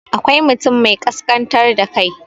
akwai mutum mai kaskantar da kai